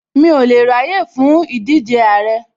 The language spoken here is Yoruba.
Mi ò lè ráyè fún ìdíje Àrẹ